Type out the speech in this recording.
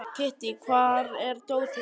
Kittý, hvar er dótið mitt?